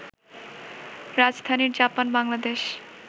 রাজধানীর জাপান-বাংলাদেশ